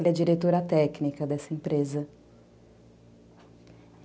Ele é diretora técnica dessa empresa.